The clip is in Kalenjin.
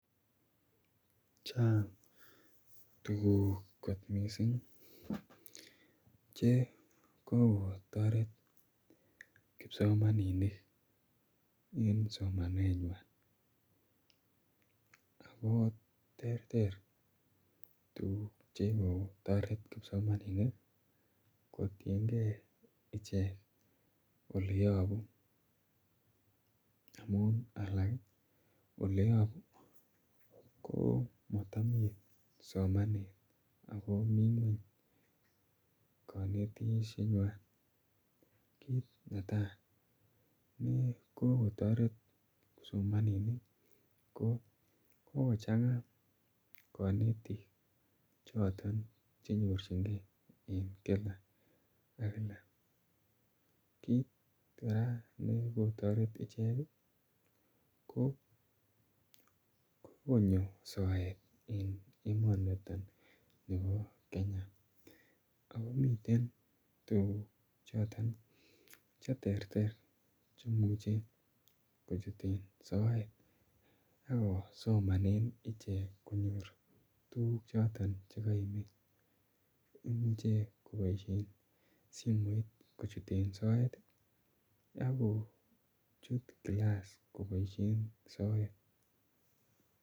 Chang tukuk kot missing che kokotoret kipsomaninik eng somaneng'wany ako ter ter tukuk che ko toret kipsomaninik kotienkei ichek oleyopu amun alak oleyopu ko matami somanet akomi ng'weny kanetishet nywan kiit netai ne kokotoret kipsomaninik ko kikochanga konetik choton chenyorchingei en kila ak kila kiit kora neko toret ichek ko konyo soet eng emoniton nebo Kenya akomiten tukuk choton cheter ter chemuche kochuten soet akosomane ichek konyor tukuk choton chikaimi imuchei koboishe simoit kochuten soet akochut kilass koboishe soet